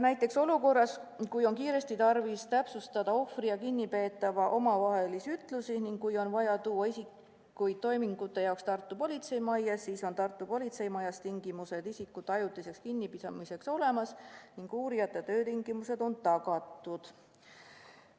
Näiteks olukorras, kui on kiiresti tarvis täpsustada ohvri ja kinnipeetava ütlusi ning kui on vaja tuua isikuid toimingute jaoks Tartu politseimajja, siis on Tartu politseimajas tingimused isikute ajutiseks kinnipidamiseks olemas ning uurijate töötingimused on tagatud.